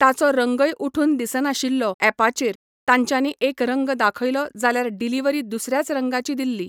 ताचो रंगय उठून दिसनाशिल्लो एपाचेर तांच्यानी एक रंग दाखयलो जाल्यार डिलीवरी दुसऱ्याच रंगाची दिल्ली